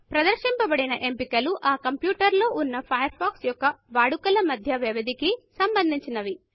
ప్రదర్శించబదిన ఎంపికలు ఆ కంప్యూటర్లో వున్న ఫయర్ ఫాక్స్ యొక్క వాడుకల మధ్య వ్యవధికి సంబంధించినవి